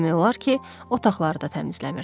demək olar ki, otaqları da təmizləmirdi.